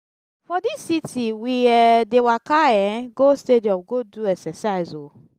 for dis city we um dey waka um go stadium go do exercise o.